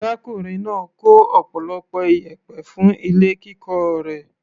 Arákùnrin náà kó ọ̀pọ̀lọpọ̀ iyẹ̀pẹ̀ fún ilé kíkọ́ rẹ̀.